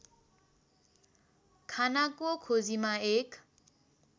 खानाको खोजीमा एक